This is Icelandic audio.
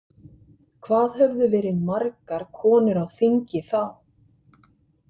Hvað höfðu verið margar konur á þingi þá?